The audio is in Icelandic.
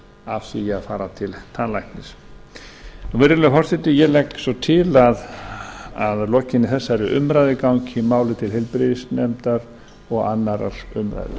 af því að fara til tannlæknis virðulegi forseti ég legg svo til að lokinni þessari umræðu gangi málið til heilbrigðisnefndar og annarrar umræðu